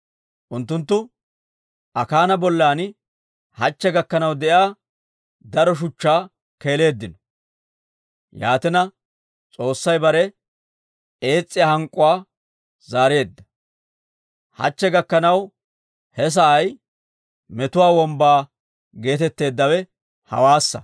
Unttunttu Akaana bollan hachche gakkanaw de'iyaa daro shuchchaa keeleeddino. Yaatina, S'oossay bare ees's'iyaa hank'k'uwaa zaareedda. Hachche gakkanaw he sa'ay Metuwaa Wombbaa geetetteeddawe hawaassa.